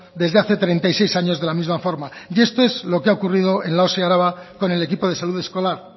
desde hace treinta y seis años de la misma forma y esto es lo que ha ocurrido en la osi araba con el equipo de salud escolar